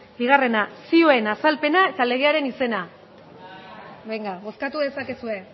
bigarrena zioen azalpena eta legearen izena benga bozkatu dezakezue